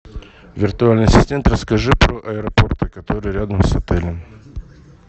виртуальный ассистент расскажи про аэропорты которые рядом с отелем